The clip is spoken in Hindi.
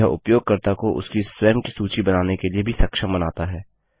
यह उपयोगकर्ता को उसकी स्वयं की सूची बनाने के लिए भी सक्षम बनाता है